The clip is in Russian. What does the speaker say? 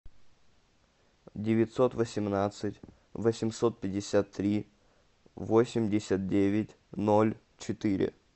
девятьсот восемнадцать восемьсот пятьдесят три восемьдесят девять ноль четыре